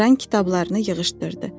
Jan kitablarını yığışdırdı.